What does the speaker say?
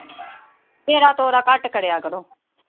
ਤੋਰਾ-ਫੇਰਾ ਘੱਟ ਕਰਿਆ ਕਰੋ।